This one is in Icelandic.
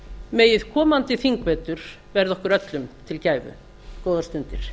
megi komandi þingvetur verða okkur öllum til gæfu góðar stundir